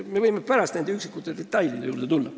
Me võime pärast üksikute detailide juurde tulla.